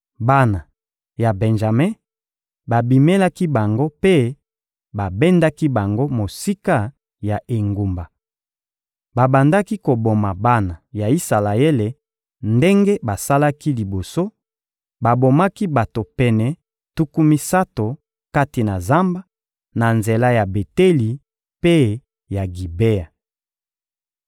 Bana ya Benjame babimelaki bango mpe babendaki bango mosika ya engumba. Babandaki koboma bana ya Isalaele ndenge basalaki liboso; babomaki bato pene tuku misato kati na zamba, na nzela ya Beteli mpe ya Gibea.